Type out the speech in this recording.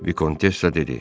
Vikontessya dedi: